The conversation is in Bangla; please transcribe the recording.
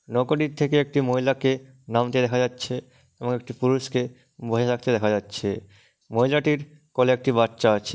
নৌকাটি থেকে একটি মহিলাকে নামতে দেখা যাচ্ছে এবং একটি পুরুষ কে বসে থাকতে দেখা যাচ্ছে। মহিলাটির কোলে একটি বাচ্চা আছে।